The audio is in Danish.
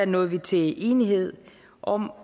nåede vi til enighed om